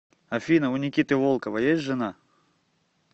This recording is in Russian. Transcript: афина у никиты волкова есть жена